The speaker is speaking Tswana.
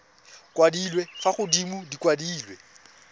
kwadilwe fa godimo di kwadilwe